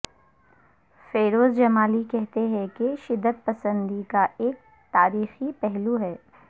فیروز جمالی کہتے ہیں کہ شدت پسندی کا ایک تاریخی پہلو ہے